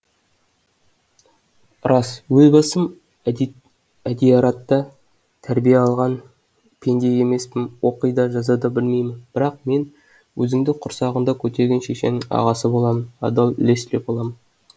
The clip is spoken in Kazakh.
рас өз басым әдияратта тәрбие алған пенде емеспін оқи да жаза да білмеймін бірақ мен өзіңді құрсағында көтерген шешеңнің ағасы боламын адал лесли боламын